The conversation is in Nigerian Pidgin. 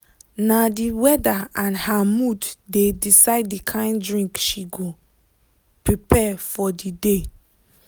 na the weather and her mood dey decide the kind drink she go prepare for the day.